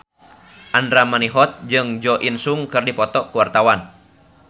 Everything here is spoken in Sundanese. Andra Manihot jeung Jo In Sung keur dipoto ku wartawan